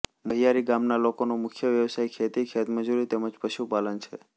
મહિયારી ગામના લોકોનો મુખ્ય વ્યવસાય ખેતી ખેતમજૂરી તેમ જ પશુપાલન છે